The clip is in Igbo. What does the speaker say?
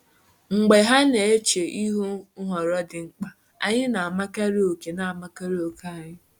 Mgbe ha na-eche ihu nhọrọ dị mkpa, anyị na-amakarị oke na-amakarị oke anyị.